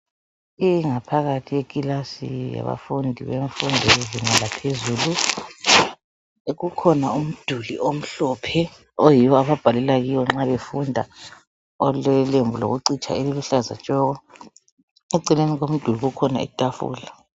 Ingaphakathi yekilasi yabafundi bemfundo yezinga laphezulu kukhona umduli omhlophe oyiwo ababhalela kiwo nxa befunda olelembu lokucitsha eliluhlaza tshoko ekucineni komduli kukhona itafula.